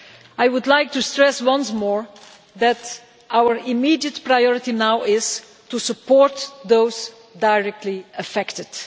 I would like to stress once more that our immediate priority now is to support those directly affected.